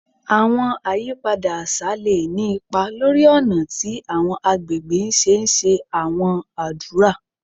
Àwọn àyípadà àṣà lè ní ipa lórí ọ̀nà tí àwọn àgbègbè ṣe ńṣe àwọn ádùrá